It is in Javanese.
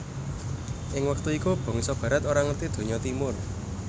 Ing wektu iku bangsa Barat ora ngerti donya Timur